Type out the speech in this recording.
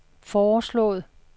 foreslået